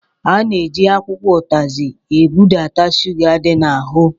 A na-eji akwụkwọ ụtazi ebudata shuga dị n'ahụ.